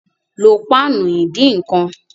Lo páànù ìdínkan!